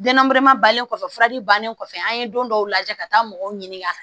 Danamɛrɛ balen kɔfɛ furaji bannen kɔfɛ an ye don dɔw lajɛ ka taa mɔgɔw ɲininka